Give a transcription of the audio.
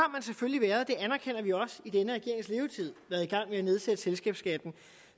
selvfølgelig i denne regerings levetid og at nedsætte selskabsskatten